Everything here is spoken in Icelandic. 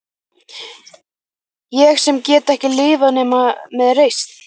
Ég sem get ekki lifað nema með reisn.